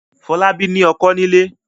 Fọlábí ní ọkọ́ nílé.